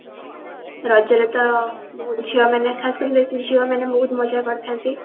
ରଜ ରେ ତ ଝିଅମାନେ ଖାସ କରି ବେସି ଝିଅମାନେ ବହୁତ ମଜା କରିଥାନ୍ତି